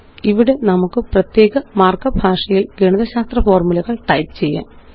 ഇവിടെ നമുക്ക് പ്രത്യേക മാര്ക്കപ്പ് ഭാഷയില് ഗണിതശാസ്ത്ര ഫോര്മുലകള് ടൈപ്പ് ചെയ്യാം